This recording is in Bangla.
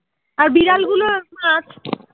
আর বিড়াল মাছ